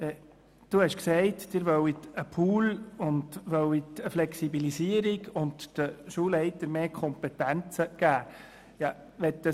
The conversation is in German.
Sie hat gesagt, sie wolle einen Pool schaffen, eine Flexibilisierung ermöglichen und den Schulleitern mehr Kompetenzen geben.